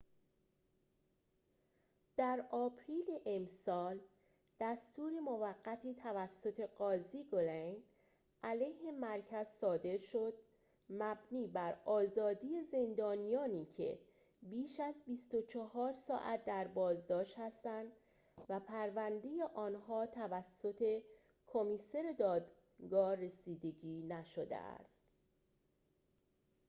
در آپریل امسال دستور موقتی توسط قاضی گلین علیه مرکز صادر شد مبنی بر آزادی زندانیانی که بیش از ۲۴ ساعت در بازداشت هستند و پرونده آنها توسط کمیسر دادگاه رسیدگی نشده است